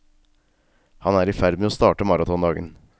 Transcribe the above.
Han er i ferd med å starte maratondagen.